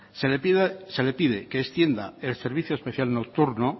se le pide que extienda el servicio especial nocturno